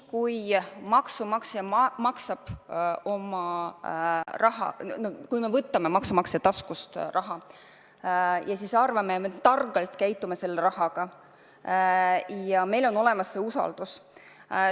Maksumaksja maksab makse, me võtame maksumaksja taskust raha ja arvame, et me kasutame seda raha targalt ja meil on olemas vajalik usaldus.